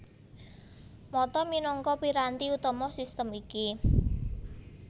Mata minangka piranti utama sistem iki